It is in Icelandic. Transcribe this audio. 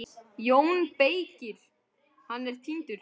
JÓN BEYKIR: Hann er týndur!